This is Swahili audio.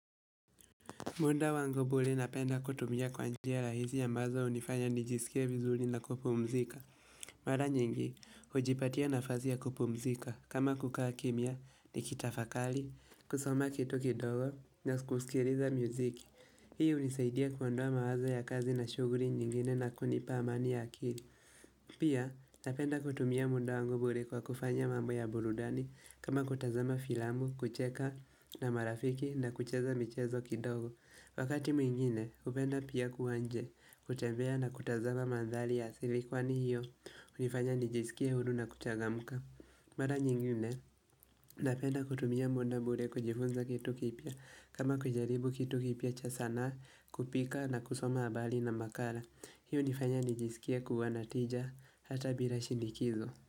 Muda wangu bure napenda kutumia kwa njia rahisi ambazo hunifanya nijisikie vizuri na kupumzika. Mara nyingi, hujipatia nafasi ya kupumzika. Kama kukaa kimya nikitafakari, kusoma kitu kidogo na kusikiliza muziki. Hii unisaidia kuondoa mawazo ya kazi na shughuli nyingine na kunipa amani ya akili. Pia napenda kutumia muda wangu bure kwa kufanya mambo ya burudani kama kutazama filamu, kucheka na marafiki na kucheza michezo kidogo. Wakati mwingine, hupenda pia kuwa nje, kutembea na kutazama mandhari ya asili kwani hiyo, hunifanya nijisikie huru na kuchagamka. Mara nyingine, napenda kutumia muda bure kujifunza kitu kipya, kama kujaribu kitu kipya cha sanaa, kupika na kusoma habari na makala. Hii unifanya nijisikia kua na tija hata bila shinikizo.